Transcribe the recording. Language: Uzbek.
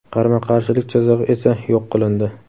qarama-qarshilik chizig‘i esa yo‘q qilindi.